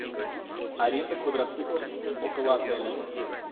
аренда квадроциклов около отеля